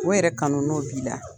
O yɛrɛ kanu, n'o b'i la